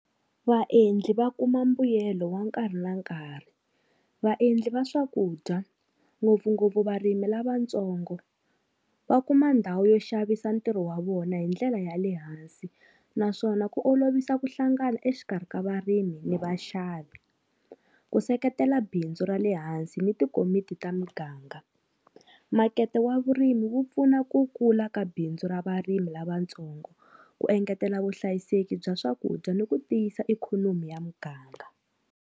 Vaendli va kuma mbuyelo wa nkarhi na nkarhi, vaendli va swakudya ngopfungopfu varimi lavatsongo va kuma ndhawu yo xavisa ntirho wa vona hi ndlela ya le hansi, naswona ku olovisa ku hlangana exikarhi ka varimi ni vaxavi. Ku seketela bindzu ra le hansi ni tikomiti ta muganga, makete wa vurimi wu pfuna ku kula ka bindzu ra varimi lavatsongo, ku engetela vuhlayiseki bya swakudya ni ku tiyisa ikhonomi ya muganga.